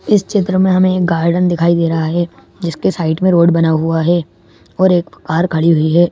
इस चित्र में हमें गार्डन दिखाई दे रहा है जिसके साइड में रोड बना हुआ है और एक कार खड़ी हुई है।